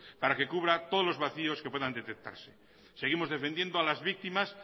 para que cubra todos los vacíos que puedan detectarse seguimos defendiendo a las víctimas